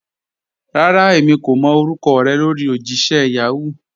Rárá, èmi kò mọ́ orúkọ̀ rẹ lórí ojìṣẹ̀ Yahoo.